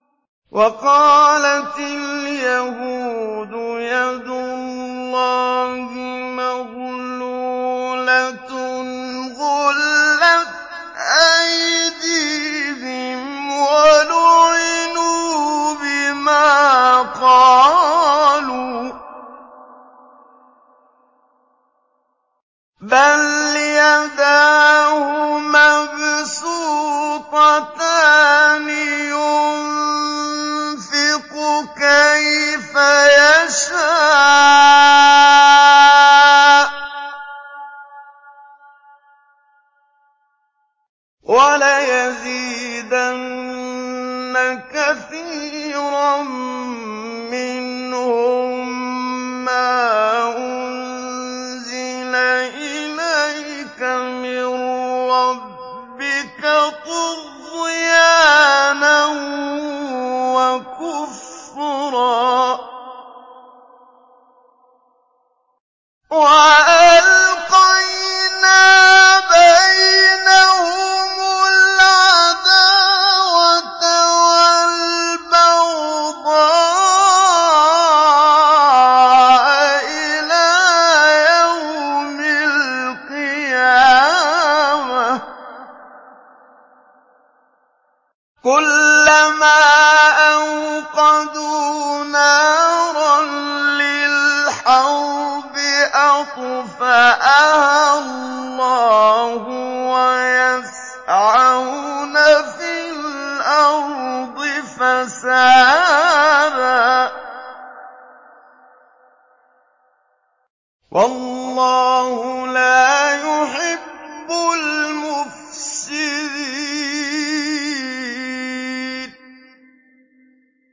وَقَالَتِ الْيَهُودُ يَدُ اللَّهِ مَغْلُولَةٌ ۚ غُلَّتْ أَيْدِيهِمْ وَلُعِنُوا بِمَا قَالُوا ۘ بَلْ يَدَاهُ مَبْسُوطَتَانِ يُنفِقُ كَيْفَ يَشَاءُ ۚ وَلَيَزِيدَنَّ كَثِيرًا مِّنْهُم مَّا أُنزِلَ إِلَيْكَ مِن رَّبِّكَ طُغْيَانًا وَكُفْرًا ۚ وَأَلْقَيْنَا بَيْنَهُمُ الْعَدَاوَةَ وَالْبَغْضَاءَ إِلَىٰ يَوْمِ الْقِيَامَةِ ۚ كُلَّمَا أَوْقَدُوا نَارًا لِّلْحَرْبِ أَطْفَأَهَا اللَّهُ ۚ وَيَسْعَوْنَ فِي الْأَرْضِ فَسَادًا ۚ وَاللَّهُ لَا يُحِبُّ الْمُفْسِدِينَ